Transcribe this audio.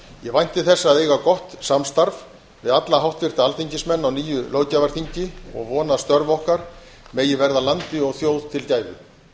ég vænti þess að eiga gott samstarf við alla háttvirta alþingismenn á nýju löggjafarþingi og vona að störf okkar megi verða landi og þjóð til gæfu